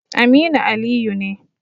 Aminu Aliyu ne.